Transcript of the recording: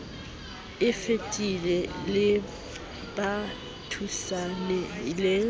e fetileng le ba futsanehileng